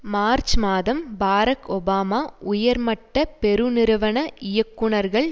March மாதம் Barack Obama உயர்மட்ட பெருநிறுவன இயக்குனர்கள்